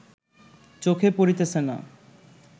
চোখে পড়িতেছে না